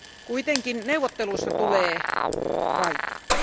Kuitenkin neuvotteluista tulee vaikeat.